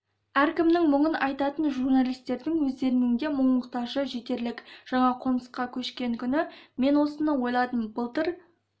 әркімнің мұңын айтатын журналистердің өздерінің де мұң-мұқтажы жетерлік жаңа қонысқа көшкен күні мен осыны ойладым былтыр